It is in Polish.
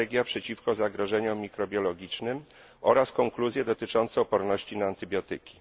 Strategia przeciwko zagrożeniom mikrobiologicznym oraz konkluzję dotyczącą odporności na antybiotyki.